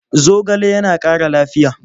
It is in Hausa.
Zogale yana ƙara lafiya.